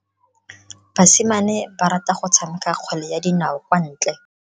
Basimane ba rata go tshameka kgwele ya dinao kwa ntle.